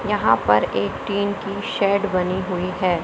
यहां पर एक टीन की शेड बनी हुई है।